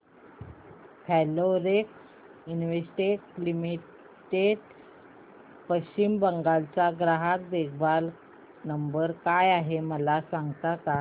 Florence Investec limited Paschim Bangal चा ग्राहक देखभाल नंबर काय आहे मला सांगता का